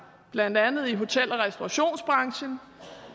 i blandt andet hotel og restaurationsbranchen